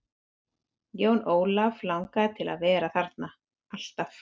Jón Ólaf langaði til að vera þarna, alltaf.